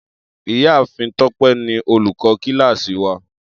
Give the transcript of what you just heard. Iyaafin Tope ni olukọ kilasi wa.